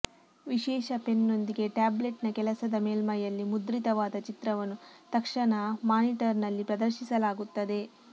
ವಿಶೇಷ ಪೆನ್ನೊಂದಿಗೆ ಟ್ಯಾಬ್ಲೆಟ್ನ ಕೆಲಸದ ಮೇಲ್ಮೈಯಲ್ಲಿ ಮುದ್ರಿತವಾದ ಚಿತ್ರವನ್ನು ತಕ್ಷಣ ಮಾನಿಟರ್ನಲ್ಲಿ ಪ್ರದರ್ಶಿಸಲಾಗುತ್ತದೆ